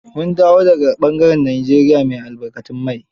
Mun dawo da ga ɓangaren Nigeria mai albarkatun mai.